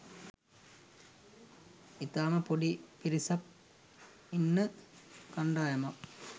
ඉතාම පොඩි පිරිසක් ඉන්න කණ්ඩායමක්